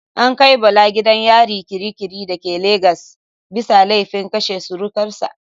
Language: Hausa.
An kai Bala gidan yari kirikiri da ke Lagos bisa laifin kashe surukar sa.